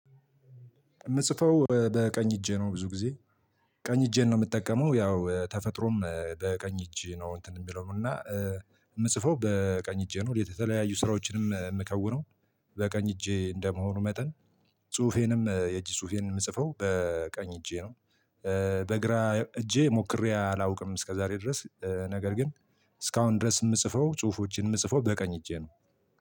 የምጽፈው በቀኝ እጄ ነው ብዙ ጊዜ ቀኝ እጄን ነው የምጠቀመው ያው ተፈጥሮም በቀኝ እጅ ነው እንትን የሚለው ነው እና የምጽፈው በቀኝ እጄ ነው የተለያዩ ስራዎችንም የምከውነው በቀኝ እጄ እንደመሆኑ መጠን ጽሁፌንም የእጅ ጽሁፌንም የምጽፈው በቀኝ እጄ ነው። በግራ እጄ ሞክሬ አላውቅም እስከዛሬ ድረስ ነገር ግን እስካሁን ድረስ የምጽፈው ጽሁፎችን የምጽፈው በቀኝ እጄ ነው።